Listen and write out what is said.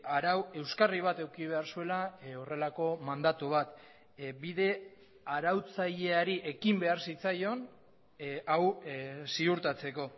arau euskarri bat eduki behar zuela horrelako mandatu bat bide arautzaileari ekin behar zitzaion hau ziurtatzeko